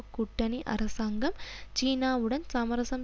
கூட்டணி அரசாங்கம் சீனாவுடன் சமரசம்